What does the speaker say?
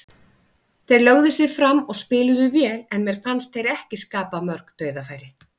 Þeir lögðu sig fram og spiluðu vel, en mér fannst þeir ekki skapa mörg dauðafæri.